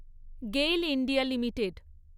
Gayle India limited